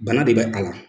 Bana de bɛ a la